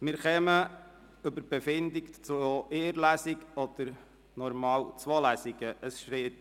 Wir beschliessen nun, ob es eine oder zwei Lesungen geben soll.